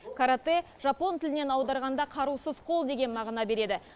каратэ жапон тілінен аударғанда қарусыз қол деген мағына береді